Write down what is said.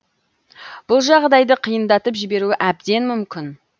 бұл жағдайды қиындатып жіберуі әбден мүмкін